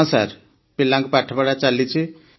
ହଁ ସାର୍ ପିଲାଙ୍କ ପାଠପଢ଼ା ଚାଲିଛି